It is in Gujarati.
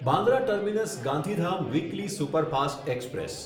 Bandra terminus Gandhidham weekly superfast express